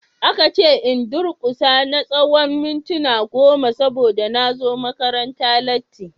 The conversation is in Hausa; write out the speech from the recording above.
Aka ce in durkusa na tsawon mintuna goma saboda na zo makaranta latti.